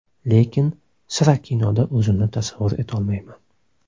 Lekin sira kinoda o‘zimni tasavvur etolmayman.